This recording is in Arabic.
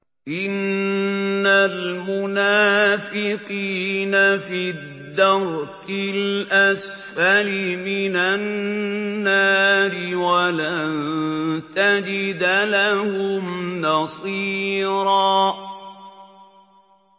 إِنَّ الْمُنَافِقِينَ فِي الدَّرْكِ الْأَسْفَلِ مِنَ النَّارِ وَلَن تَجِدَ لَهُمْ نَصِيرًا